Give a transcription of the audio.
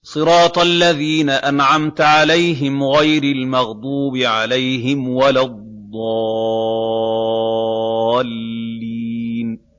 صِرَاطَ الَّذِينَ أَنْعَمْتَ عَلَيْهِمْ غَيْرِ الْمَغْضُوبِ عَلَيْهِمْ وَلَا الضَّالِّينَ